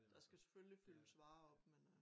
Der skal selvfølgelig fyldes varer op men øh